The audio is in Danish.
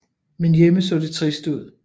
Men hjemme så det trist ud